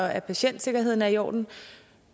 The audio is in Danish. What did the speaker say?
at patientsikkerheden er i orden